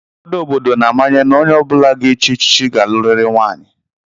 Ụfọdụ obodo na-amanye na onye ọ bụla ga-echi echichi ga-alụrịrị nwaanyị